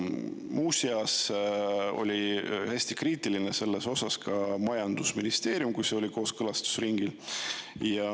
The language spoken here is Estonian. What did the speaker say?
Muuseas oli hästi kriitiline selles osas ka majandusministeerium, kui see oli kooskõlastusringil.